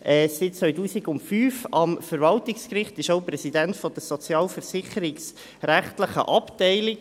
Er ist seit 2005 am Verwaltungsgericht und ist auch Präsident der sozialversicherungsrechtlichen Abteilung.